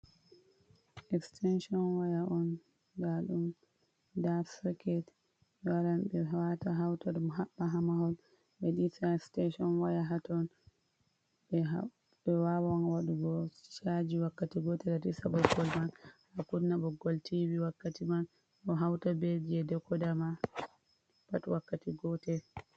Extension waya on dadum da soket be waran be wata hauta habba hamahol mediti station waya hatton be wawan wadugo chaji wakkati gotel bokolchaji man a kudna boggol TV wakkati man do hauta ber je dekodama pat wakkati goter .